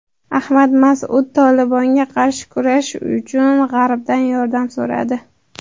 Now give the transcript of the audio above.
Ahmad Mas’ud "Tolibon"ga qarshi kurash uchun G‘arbdan yordam so‘radi.